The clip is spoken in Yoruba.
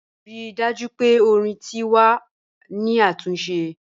Rii daju pe ọ̀rìn ti wà ni atunse.